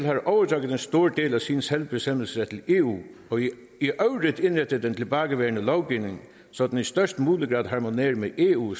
har overdraget en stor del af sin selvbestemmelse til eu og i øvrigt indrettet den tilbageværende lovgivning så den i størst mulig grad harmonerer med eu